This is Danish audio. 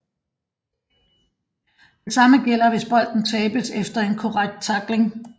Det samme gælder hvis bolden tabes efter en korrekt tackling